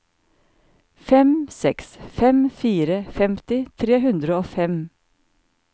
fem seks fem fire femti tre hundre og fem